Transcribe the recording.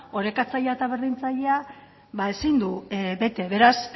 orekatzailea eta berdintzaileak ezin du bete beraz